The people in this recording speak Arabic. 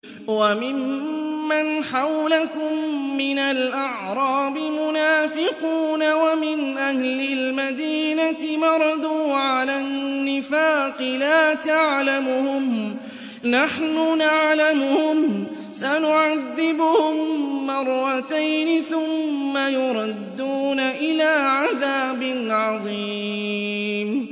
وَمِمَّنْ حَوْلَكُم مِّنَ الْأَعْرَابِ مُنَافِقُونَ ۖ وَمِنْ أَهْلِ الْمَدِينَةِ ۖ مَرَدُوا عَلَى النِّفَاقِ لَا تَعْلَمُهُمْ ۖ نَحْنُ نَعْلَمُهُمْ ۚ سَنُعَذِّبُهُم مَّرَّتَيْنِ ثُمَّ يُرَدُّونَ إِلَىٰ عَذَابٍ عَظِيمٍ